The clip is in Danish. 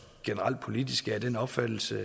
generelt politisk af den opfattelse